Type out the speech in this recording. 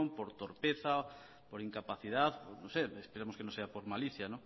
por torpeza por incapacidad no sé esperemos que no sea por malicia